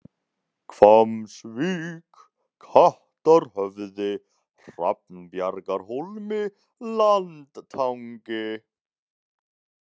Hvammsvík, Kattarhöfði, Hrafnbjargahólmi, Landtangi